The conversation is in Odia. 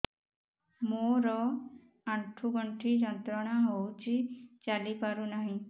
ମୋରୋ ଆଣ୍ଠୁଗଣ୍ଠି ଯନ୍ତ୍ରଣା ହଉଚି ଚାଲିପାରୁନାହିଁ